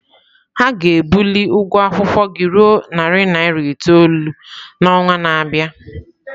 Ha ga-ebuli ụgwọ akwụkwọ gị ruo narị naira itoolu n'ọnwa na-abịa?